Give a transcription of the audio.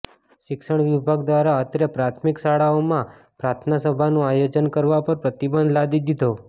શિક્ષણ વિભાગ દ્વારા અત્રે પ્રાથમિક શાળાઓમાં પ્રાર્થના સભાનું આયોજન કરવા પર પ્રતિબંધ લાદી ધીધો